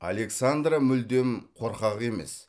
александра мүлдем қорқақ емес